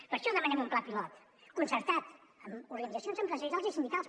per això demanem un pla pilot concertat amb organitzacions empresarials i sindicals